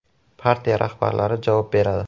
Partiya rahbarlari javob beradi.